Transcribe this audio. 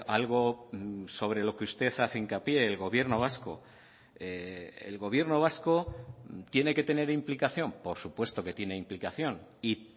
algo sobre lo que usted hace hincapié el gobierno vasco el gobierno vasco tiene que tener implicación por supuesto que tiene implicación y